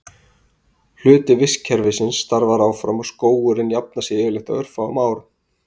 Hluti vistkerfisins starfar áfram og skógurinn jafnar sig yfirleitt á örfáum árum.